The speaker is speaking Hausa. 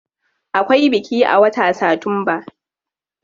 Akwai biki a watan satumba.